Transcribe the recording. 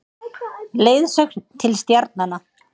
Leiðsögn til stjarnanna.